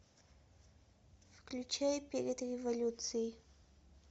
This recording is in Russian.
включай перед революцией